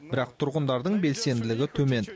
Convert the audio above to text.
бірақ тұрғындардың белсенділігі төмен